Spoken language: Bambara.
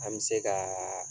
An bɛ se ka